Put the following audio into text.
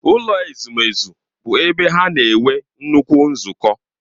Ụlọ ezumezu bụ ebe ha na-enwe nnukwu nzukọ.